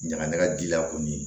Ɲaga ɲaga di la kɔni